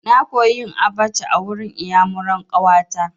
Na koya yin abaca a wurin iyamuran ƙawa ta.